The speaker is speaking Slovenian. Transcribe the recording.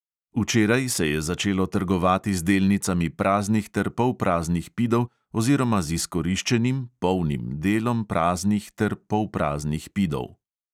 Včeraj se je začelo trgovati z delnicami praznih ter polpraznih pidov oziroma z izkoriščenim delom praznih ter polpraznih pidov.